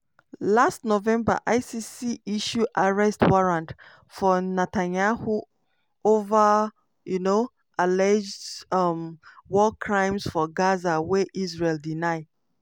last november icc issue arrest warrant for netanyahu over um alleged um war crimes for gaza wey israel deny.